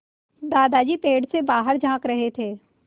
दादाजी पेड़ से बाहर झाँक रहे थे